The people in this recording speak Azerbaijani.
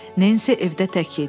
Nensi evdə tək idi.